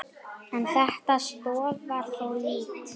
En þetta stoðar þó lítt.